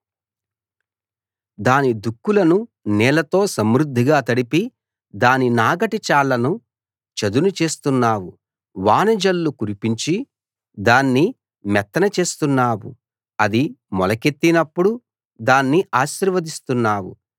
దాని దుక్కులను నీళ్లతో సమృద్ధిగా తడిపి దాని నాగటి చాళ్ళను చదును చేస్తున్నావు వాన జల్లు కురిపించి దాన్ని మెత్తన చేస్తున్నావు అది మొలకెత్తినప్పుడు దాన్ని ఆశీర్వదిస్తున్నావు